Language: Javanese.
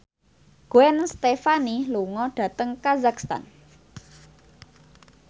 Gwen Stefani lunga dhateng kazakhstan